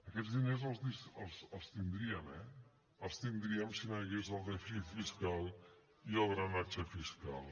aquests diners els tindríem eh els tindríem si no hi hagués el dèficit fiscal i el drenatge fiscal